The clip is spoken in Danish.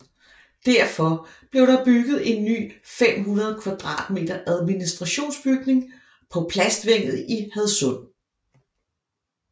Derfor blev der bygget en ny 500 m2 administrationsbygning på Plastvænget i Hadsund